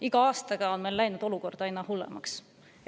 Iga aastaga on meil olukord läinud aina hullemaks.